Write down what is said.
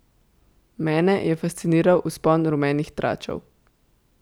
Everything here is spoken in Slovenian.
Mene je fasciniral vzpon rumenih tračev.